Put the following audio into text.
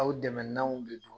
Aw dɛmɛnanw de don.